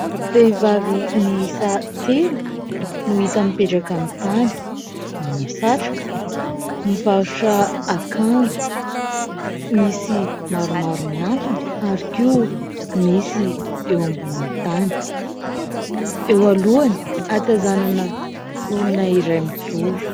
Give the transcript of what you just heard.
Vehivavy miisa telo no hita mipetraka amin'ny tany. Manao satroka mivarotra akanjo. Misy maromaro miantona ary koa misy eo ambonin'ny tany ; eo alohany atazanana olona iray mijoro.